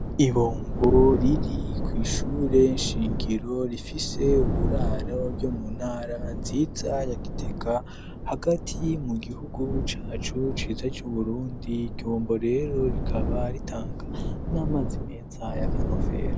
Ibombo riri kw' ishure nshingiro rifise uburaro ryo mu ntara nziza ya Gitega riri hagati mu gihugu cacu ciza c'Uburundi ikombo rero rikaba ritanga n'amazi meza y'akanovera.